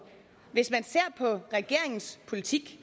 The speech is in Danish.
hvis man ser på regeringens politik